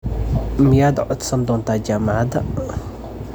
Miyaad codsan doontaa jaamacadda?